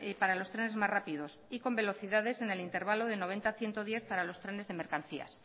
para los trenes más rápidos y con velocidades en el intervalo de noventa ciento diez para los trenes de mercancías